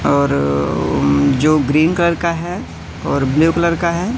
और जो green colour का है और ब्लू कलर का है।